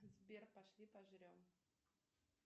сбер пошли пожрем